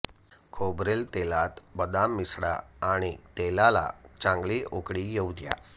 खोबरेल तेलात बदाम मिसळा आणि तेलाला चांगली उकळी येऊ द्या